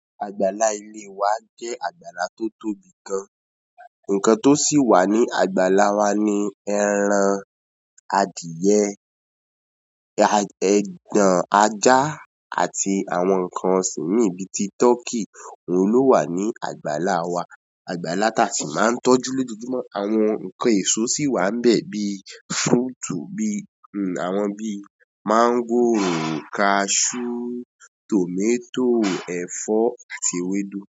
Àgbàlá ìle wa jẹ́ àgbàlá tó tóbi gan. Ǹnkan tó sì wà ní àgbàlá wa ni ẹran adìyẹ, ẹ- ẹgbọn ajá àti àwọn ǹnkan ọ̀sìn mii bi tí tọkí òun ló wà ní àgbàlá wa. Àgbàlá tá sì máa ń tọ́jú lójoojúmọ́. Àwọn ǹnkan èso sì wà níbẹ̀ bíi fruit bí, hmm àwọn bíi máńgò, cashew, tomato, ẹ̀fọ́ àti ewédú.